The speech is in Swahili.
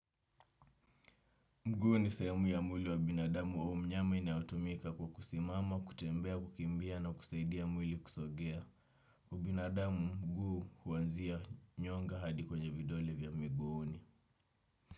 Mguu ni sehemu ya mwili wa binadamu au mnyama inayotumika kwa kusimama, kutembea, kukimbia na kusaidia mwili kusogea. Binadamu mguu uanzia nyonga hadi kwenye vidole vya miguuni.